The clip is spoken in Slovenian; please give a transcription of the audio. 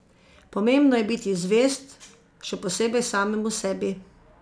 Pomembno je biti zvest, še posebej samemu sebi.